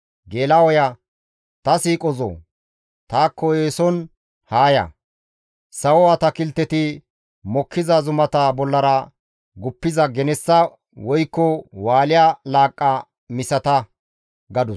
«Ta siiqozoo! Taakko eeson haa ya! Sawo atakilteti mokkiza zumata bollara guppiza genessa woykko Wusha laaqqa misata» gadus.